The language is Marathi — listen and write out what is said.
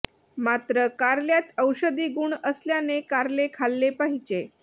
मात्र कारल्यात औषधी गुण असल्याने कारले खाल्ले पाहिजे